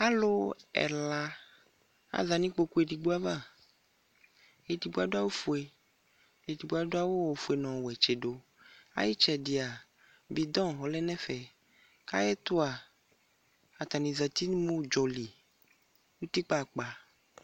alʋ ɛla aza nʋ ikpɔkʋ aɣa, ɛdigbɔ adʋ awʋ ƒʋɛ, ɛdigbɔ adʋ awʋ ƒʋɛ nʋ ɔtsidʋ, ayi itsɛdia bidɔn ɔlɛnʋ ɛƒɛ, ayɛtʋ a atani zati nʋ mʋ ʋdzɔli nʋ ʋtikpa akpa